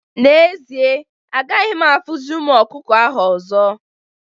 N'ezie, agaghị m afụzi ụmụ ọkụkọ ahụ ọzọ